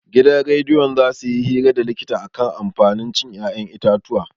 Gidan rediyo za suyi hira da likita akan amfanin cin 'ya'yan itatuwa.